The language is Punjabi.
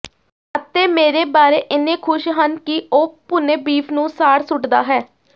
ਅਤੇ ਮੇਰੇ ਬਾਰੇ ਇੰਨੇ ਖੁਸ਼ ਹਨ ਕਿ ਉਹ ਭੁੰਨੇ ਬੀਫ ਨੂੰ ਸਾੜ ਸੁੱਟਦਾ ਹੈ